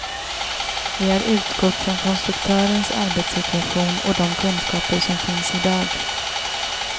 Vi har utgått från konstruktörens arbetssituation och de kunskaper som finns i dag.